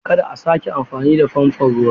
Kada a sake amfani da faifan ruwa!